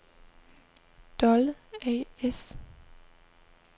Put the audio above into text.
Dolle A/S